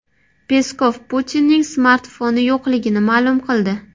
Peskov Putinning smartfoni yo‘qligini ma’lum qildi.